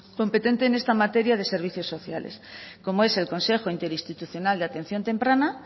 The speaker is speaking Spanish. competente en esta materia de servicios sociales como es el consejo interinstitucional de atención temprana